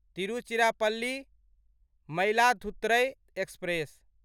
Tiruchirappalli Mayiladuthurai express